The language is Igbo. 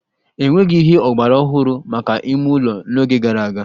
E nweghị ihe ọgbaraọhụrụ maka ime ụlọ n'oge gara aga